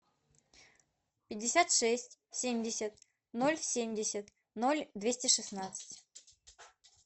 пятьдесят шесть семьдесят ноль семьдесят ноль двести шестнадцать